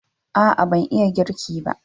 A'a ban iya girki ba